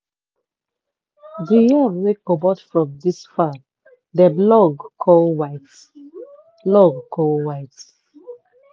di yam wey comot from dis farm dem long come white. long come white.